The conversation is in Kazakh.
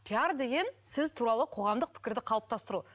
пиар деген сіз туралы қоғамдық пікірді қалыптастыру